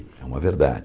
É uma verdade.